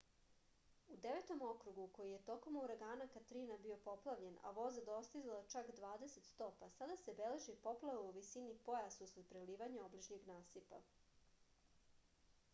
u devetom okrugu koji je tokom uragana katrina bio poplavljen a voda dostizala čak 20 stopa sada se beleži poplava u visini pojasa usled prelivanja obližnjeg nasipa